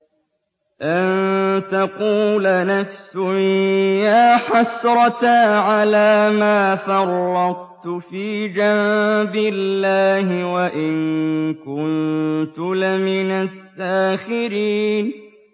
أَن تَقُولَ نَفْسٌ يَا حَسْرَتَا عَلَىٰ مَا فَرَّطتُ فِي جَنبِ اللَّهِ وَإِن كُنتُ لَمِنَ السَّاخِرِينَ